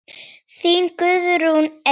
Þín Guðrún Eir.